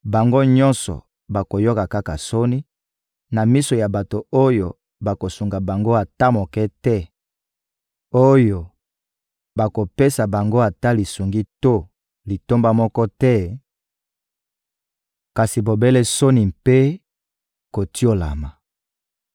bango nyonso bakoyoka kaka soni na miso ya bato oyo bakosunga bango ata moke te, oyo bakopesa bango ata lisungi to litomba moko te, kasi bobele soni mpe kotiolama.»